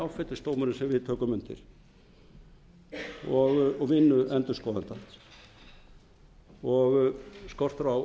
sami áfellisdómurinn sem við tökum undir og vinnu endurskoðenda og skortur á